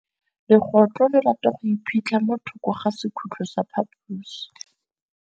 Legôtlô le rata go iphitlha mo thokô ga sekhutlo sa phaposi.